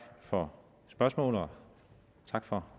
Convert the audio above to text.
for spørgsmålet og tak for